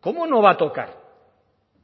cómo no va a tocar